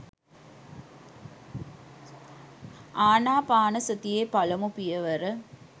අනාපානසතියේ පළමු පියවර